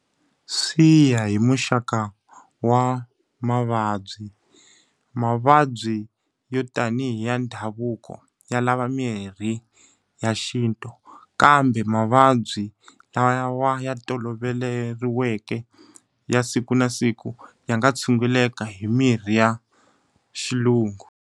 Swi ya hi muxaka wa mavabyi. Mavabyi yo tanihi ya ndhavuko ya lava mirhi ya xintu. Kambe mavabyi lawa ya toloveriweke ya siku na siku ya nga tshunguleka hi mirhi ya xilungu.